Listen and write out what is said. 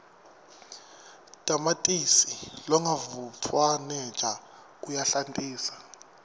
tamatisi longavutfwaneja uyahlantisa